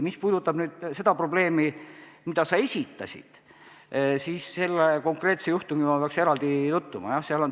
Mis puudutab seda probleemi, mille sa esitasid, siis ma peaksin selle konkreetse juhtumiga eraldi tutvuma.